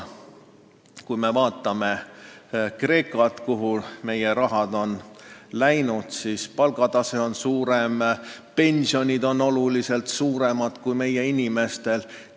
Kui me vaatame Kreekat, kuhu meie raha on läinud, siis näeme, sealne palgatase on kõrgem ja pensionid on oluliselt suuremad kui meie inimestel.